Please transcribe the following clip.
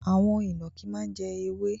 Àwon ìnànkí má n jẹ ewé